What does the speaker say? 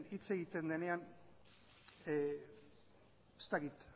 hitz egiten denean ez dakit